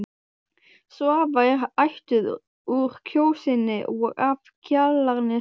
Svava er ættuð úr Kjósinni og af Kjalarnesi.